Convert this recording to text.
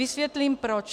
Vysvětlím proč.